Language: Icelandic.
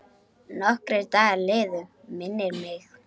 Nokkrir dagar liðu, minnir mig.